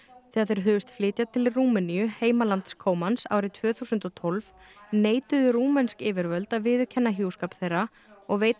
þegar þeir hugðust flytja til Rúmeníu heimalands árið tvö þúsund og tólf neituðu rúmensk yfirvöld að viðurkenna hjúskap þeirra og veita